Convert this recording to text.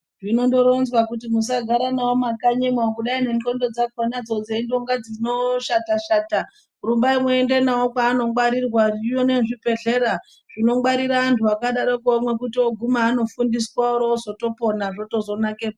Zvinondoronzwa kuti musagara navo mumakanyimo kugai nendxondo dzakonadzo ndeindonga dzinoshata-shata. Rumbai muende mavo kwaanongwarirwa zvino nezvibhedhlera zvinongwarira antu akadaroko mwekuti oguma anofundiswa oro vozotopona zvozotonakepo.